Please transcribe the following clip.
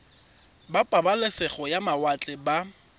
ba pabalesego ya mawatle ba